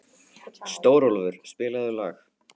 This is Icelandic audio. Stórólfur, spilaðu lag.